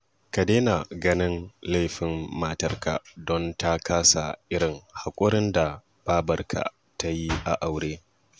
Ka daina ganin laifin matarka don ta kasa irin haƙurin da babarka ta yi a aure